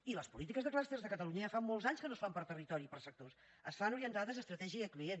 i les polítiques de clusters a catalunya ja fa molts anys que no es fan per territori i per sectors es fan orientades a estratègia i a client